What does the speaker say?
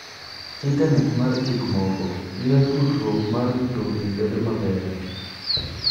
Intanet mar gik moko miyo tudruok mar mtokni bedo maber.